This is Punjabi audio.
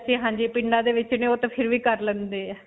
ਹਾਂਜੀ ਪਿੰਡਾਂ ਦੇ ਵਿੱਚ ਨੇ ਓਹ ਤਾਂ ਫਿਰ ਵੀ ਕਰ ਲੈਂਦੇ ਹੈ.